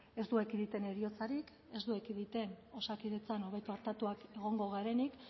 ez du ekiditen heriotzarik ez du ekiditen osakidetzan hobeto artatuak egongo garenik